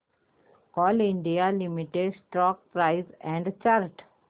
Coal India limited stock price and chart